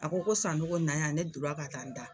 A ko ko sanogo na yan, ne donna ka taa n da.